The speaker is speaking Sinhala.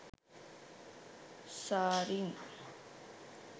zarine